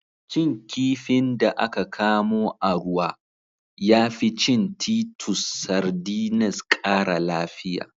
Cin kifin da aka kamo a ruwa, ya fi cin titus sardines ƙara lafiya.